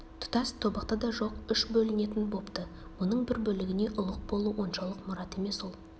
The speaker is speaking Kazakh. тұтас тобықты да жоқ үш бөлінетін бопты мұның бір бөлігіне ұлық болу оншалық мұрат емес ол